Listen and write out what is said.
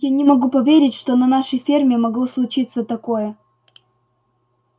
я не могу поверить что на нашей ферме могло случиться такое